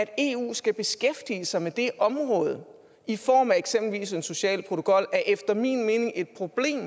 at eu skal beskæftige sig med det område i form af eksempelvis en social protokol er efter min mening et problem